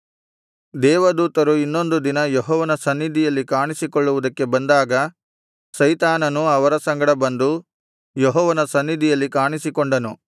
ದೇವದೂತರು ಇನ್ನೊಂದು ದಿನ ಯೆಹೋವನ ಸನ್ನಿಧಿಯಲ್ಲಿ ಕಾಣಿಸಿಕೊಳ್ಳುವುದಕ್ಕೆ ಬಂದಾಗ ಸೈತಾನನೂ ಅವರ ಸಂಗಡ ಬಂದು ಯೆಹೋವನ ಸನ್ನಿಧಿಯಲ್ಲಿ ಕಾಣಿಸಿಕೊಂಡನು